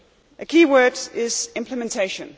A key word is implementation.